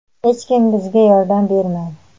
Hech kim bizga yordam bermadi.